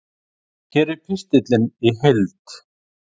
Hér er pistillinn í heild